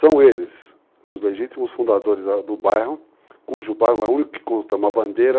eles os legítimos fundadores do bairro, cujo bairro é o único que consta uma bandeira.